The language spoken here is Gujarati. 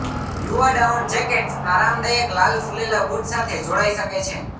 યુવા ડાઉન જેકેટ્સ આરામદાયક લાલ ફૂલેલા બુટ સાથે જોડાઈ શકે છે